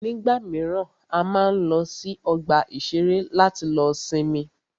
Nígbà míràn, a máa ń lọ sí ọgbà ìṣẹ̀rẹ́ láti lọ sinmi.